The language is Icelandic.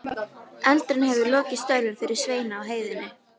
Eldurinn hefur lokið störfum fyrir Svein á heiðinni.